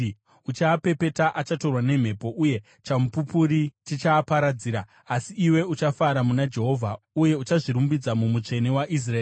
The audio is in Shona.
Uchaapepeta, achatorwa nemhepo, uye chamupupuri chichaaparadzira. Asi iwe uchafara muna Jehovha, uye uchazvirumbidza muMutsvene waIsraeri.